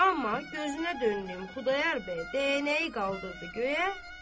Amma gözünə döndüyüm Xudayar bəy dəyənəyi qaldırdı göyə.